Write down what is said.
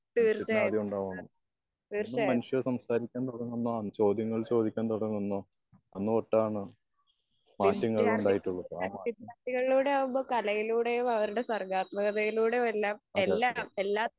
തീർച്ചയായും തീർച്ചയായും വിദ്യാർത്ഥികളുടെ വിദ്യാർഥികളിലൂടെ ആവുമ്പൊ കലയിലൂടെയും അവരുടെ സർഗാത്മകതയിലൂടെ വരണ എല്ലാം എല്ലാ